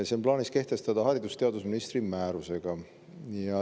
See on plaanis kehtestada haridus‑ ja teadusministri määrusega.